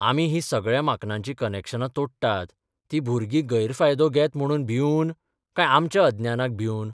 आमी हीं सगळ्या माक्नांची कनॅक्शनां तोडटात तीं भुरगीं गैरफायदो घेत म्हणून भिवन काय आमच्या अज्ञानाक भिवन?